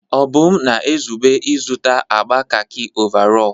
Obum na-ezube ịzụta agba kakị ọvarọọr.